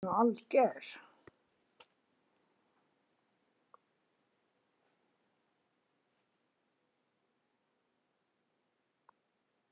Þú ert nú alger!